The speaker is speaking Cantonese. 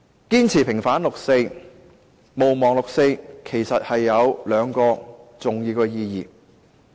堅持平反六四，毋忘六四，有兩個重要意義。